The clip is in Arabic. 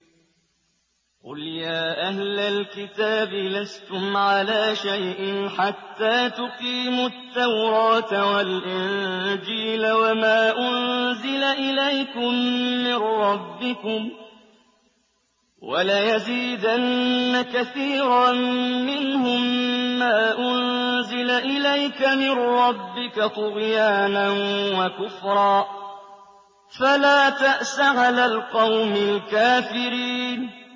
قُلْ يَا أَهْلَ الْكِتَابِ لَسْتُمْ عَلَىٰ شَيْءٍ حَتَّىٰ تُقِيمُوا التَّوْرَاةَ وَالْإِنجِيلَ وَمَا أُنزِلَ إِلَيْكُم مِّن رَّبِّكُمْ ۗ وَلَيَزِيدَنَّ كَثِيرًا مِّنْهُم مَّا أُنزِلَ إِلَيْكَ مِن رَّبِّكَ طُغْيَانًا وَكُفْرًا ۖ فَلَا تَأْسَ عَلَى الْقَوْمِ الْكَافِرِينَ